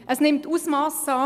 Es nimmt ein Ausmass an.